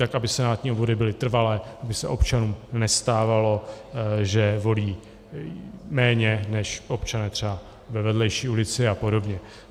Tak, aby senátní obvody byly trvalé, aby se občanům nestávalo, že volí méně než občané třeba ve vedlejší ulici a podobně.